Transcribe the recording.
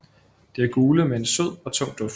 De er gule med en sød og tung duft